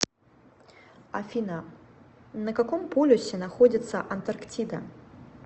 афина на каком полюсе находится антарктида